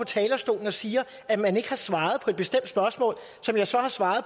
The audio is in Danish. talerstolen og siger at man ikke har svaret på et bestemt spørgsmål som jeg så har svaret